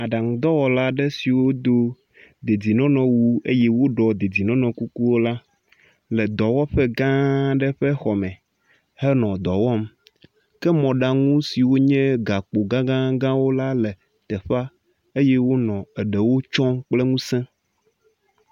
Aɖaŋudɔwɔla ɖe siwo do dedienɔnɔ wu eye woɖo dedienɔnɔ kukuwo le dɔwɔƒe gã aɖe ƒe xɔme henɔ dɔ wɔm ke mɔɖaŋu siwo nye gakpo gagagãwo la le teƒea eye wonɔ eɖewo tsɔm kple ŋuse.